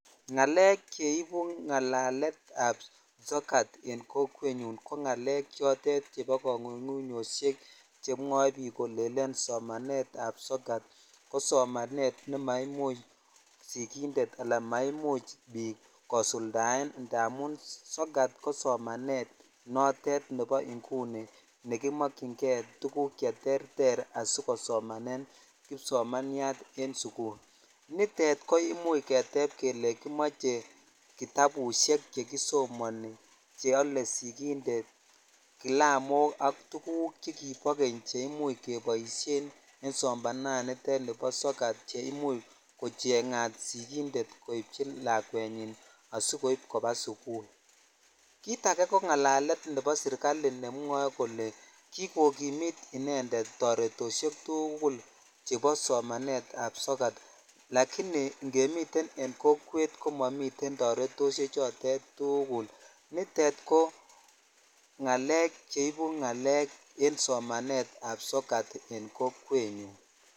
Ngalek cheibu ngalekab sokat en kokwenyun ko kongungunyoshek kolelen somanetab sokat ko somanet nemaimuch sikindet anan maimuch biik kosuldaen amun sokat kosomanet notet nebo inguni nekimokyinge tukuk cheterter asikosomanen kipsomaniat en sukul, nitet ko imuch keteb kelee kimoche kitabushek chekisomoni cheole sikindet kilamok ak tukuk chekibo keny che imuch keboishen en somananitet chubo sokat cheimuch kochengat sikindet koibchi lakwenywan asikoib koba sukul, kiit akee ko ngalalet nebo serikali nemwoe kole kikokimit inendet toretoshek tukul chebo somanetab sokat lakini ingemiten en kokwet komomiten toretoshe chotet tukul, nitet ko ngalek cheibu ngalek en somanetab sokat n kokwenyun.